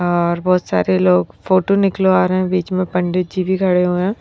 और बहुत सारे लोग फोटो निकलवा रहे हैं बीच में पंडित जी भी खड़े हुए हैं।